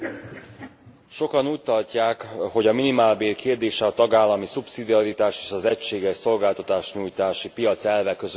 Sokan úgy tartják, hogy a minimálbér kérdése a tagállami szubszidiaritás és az egységes szolgáltatásnyújtási piac elve közötti vita.